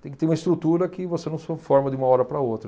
tem que ter uma estrutura que você não se forma de uma hora para a outra.